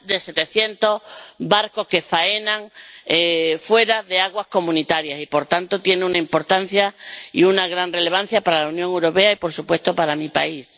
Hay más de 700 barcos que faenan fuera de aguas comunitarias y, por tanto, tiene una importancia y una gran relevancia para la Unión Europea y, por supuesto, para mi país.